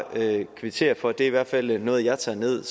kvittere for at det i hvert fald er noget jeg tager ned